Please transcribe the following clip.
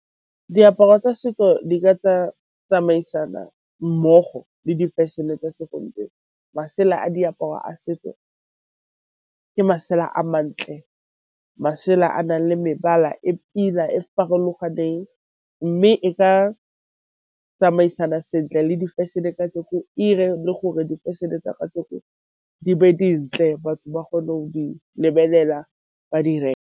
Diaparo tsa setso di ka tsamaisana mmogo le difešene tsa segompieno. Masela a diaparo a setso ke masela a mantle, masela a nang le mebala e pila e farologaneng mme e ka tsamaisana sentle le difešene ire le gore difešene tsa kajeno di be dintle batho ba kgone go lebelela ba di .